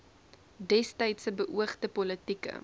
destydse beoogde politieke